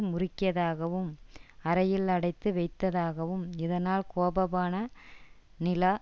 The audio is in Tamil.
முறுக்கியதாகவும் அறையில் அடைத்து வைத்ததாகவும் இதனால் கோபமான நிலா